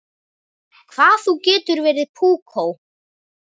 Hvað þú getur verið púkó!